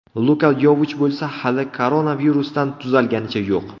Luka Yovich bo‘lsa hali koronavirusdan tuzalganicha yo‘q.